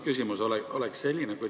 Küsimus on selline.